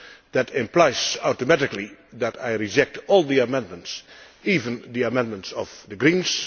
That implies automatically that I reject all the amendments, even the amendments from the Greens.